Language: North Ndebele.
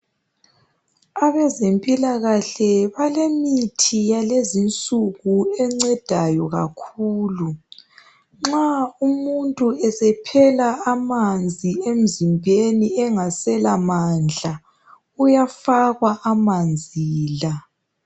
Abezempilakahle balemitho yalezinsuku encedayi kakhulu nxa umuntu esephela amanzi rmzimbeni engasela mandla uyafakwa amanzi la.